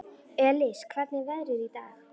Elis, hvernig er veðrið í dag?